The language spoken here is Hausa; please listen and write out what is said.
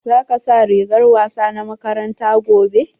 Za ka sa rigar wasa na makaranta gobe?